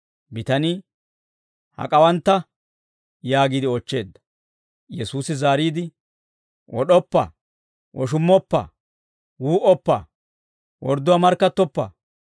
Bitanii, «Hak'awantta?» yaagiide oochcheedda. Yesuusi zaariide, «Wod'oppa; woshummoppa; wuu"oppa; wordduwaa markkattoppa;